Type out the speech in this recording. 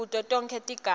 kuto tonkhe tigaba